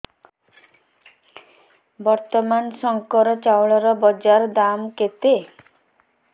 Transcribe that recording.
ବର୍ତ୍ତମାନ ଶଙ୍କର ଚାଉଳର ବଜାର ଦାମ୍ କେତେ